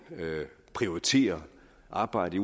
prioriterer arbejdet